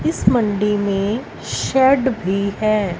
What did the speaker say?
इस मंडी में शर्ट भी है।